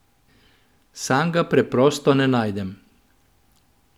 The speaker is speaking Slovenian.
Sam ga preprosto ne najdem.